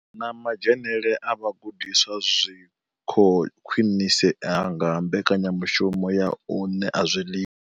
Na madzhenele a vhagudiswa zwi khou khwinisea nga mbekanyamushumo ya u ṋea zwiḽiwa.